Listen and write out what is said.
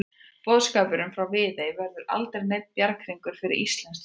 Boðskapurinn frá Viðey verður aldrei neinn bjarghringur fyrir íslenskt þjóðfélag.